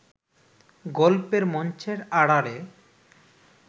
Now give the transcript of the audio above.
গল্পের মঞ্চের আড়ালে